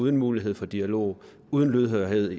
uden mulighed for dialog uden lydhørhed